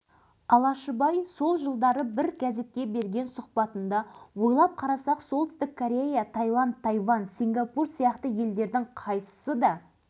сол бір ауыз жылы сөз оны талай қияндарға алып шыққанын ол өзі кейін сезіне бастады